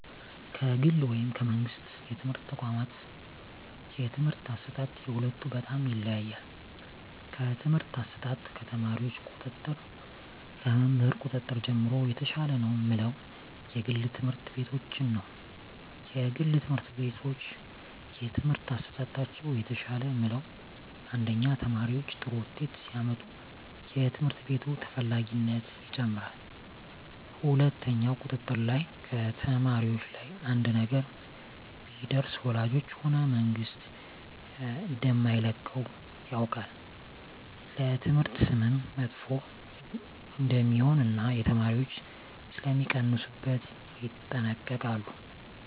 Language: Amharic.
ከግል ወይም ከመንግሥት የትምህርት ተቋዋማት የትምህርት አሰጣጥ የሁለቱ በጣም ይለያያል ከትምህርት አሰጣጥ ከተማሪዎች ቁጥጥር ከመምህር ቁጥጥር ጀምሮ የተሻለ ነው ምለው የግል ትምህርት ቤቶችን ነዉ የግል ትምህርት ቤቶች የትምህርት አሠጣጣቸው የተሻለ ምለው አንደኛ ተማሪዎች ጥሩ ውጤት ሲያመጡ የትምህርት ቤቱ ተፈላጊነት ይጨምራል ሁለትኛው ቁጥጥር ላይ ከተማሪዎች ላይ አንድ ነገር ቢደርስ ወላጆች ሆነ መንግስት እደማይለቀው ያውቃል ለትምህርት ስምም መጥፎ እደሜሆን እና የተማሪዎች ሥለሚቀንሡበት ይጠነቀቃሉ